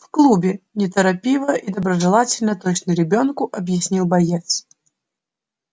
в клубе неторопливо и доброжелательно точно ребёнку объяснил боец